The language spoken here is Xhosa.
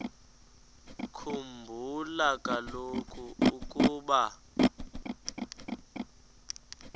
khumbula kaloku ukuba